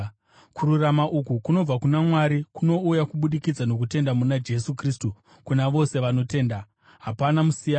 Kururama uku kunobva kuna Mwari kunouya kubudikidza nokutenda muna Jesu Kristu kuna vose vanotenda. Hapana musiyano,